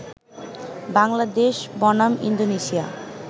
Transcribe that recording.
বাংলাদেশ বনাম ইন্দোনেশিয়া